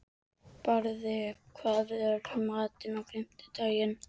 Barði, hvað er í matinn á fimmtudaginn?